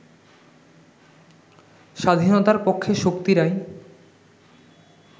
স্বাধীনতার পক্ষের শক্তিরাই